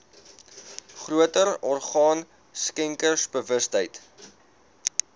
groter orgaan skenkersbewustheid